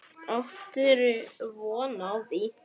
Áttirðu von á því?